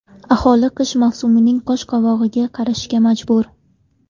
Aholi qish mavsumining qosh-qovog‘iga qarashga majbur.